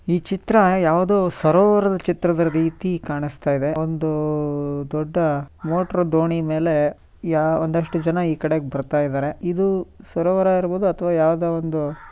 ಈ ಚಿತ್ರ ಯಾವುದೋ ಸರೋವರದ ಚಿತ್ರದ ರೀತಿ ಕಾಣಿಸ್ತಾ ಇದೆ ಒಂದು ದೊಡ್ಡ ಮೋಟರ್ ದೋಣಿ ಮೇಲೆ ಒಂದಷ್ಟು ಜನ ಈ ಕಡೆ ಬರ್ತಾ ಇದ್ದಾರೆ ಇದು ಸರೋವರ ಇರಬಹುದು ಅಥವಾ ಯಾವುದೋ ಒಂದು--